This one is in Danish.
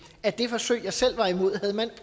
at det forsøg jeg selv var imod havde man